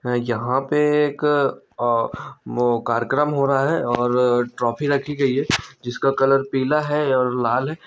यहाँ पे एक अ वो कार्यक्रम हो रहा है और ट्रॉफी रखी गई है जिसका कलर पीला है और लाल है।